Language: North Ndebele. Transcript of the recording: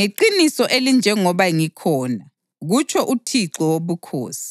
Ngeqiniso elinjengoba ngikhona, kutsho uThixo Wobukhosi,